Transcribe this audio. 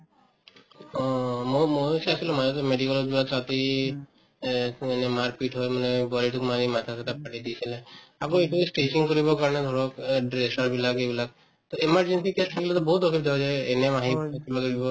অ অ মই ময়ো চাইছিলো মাজতে medical ত এই মাৰপিট হৈ মানে বোৱাৰিটোক মাৰি মাথা-চাথা ফালি দিছিলে আকৌ এইটো ই stitching কৰিব কাৰণে ধৰক অ dresser বিলাকে এইবিলাক to emergency case আহিলে to বহুত অসুবিধা হৈ যায় ANM আহিল থাকিব লাগিব